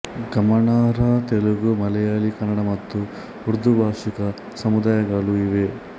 ಗಮನಾರ್ಹ ತೆಲುಗು ಮಲೆಯಾಳಿ ಕನ್ನಡ ಮತ್ತು ಉರ್ದು ಭಾಷಿಕ ಸಮುದಾಯಗಳು ಇವೆ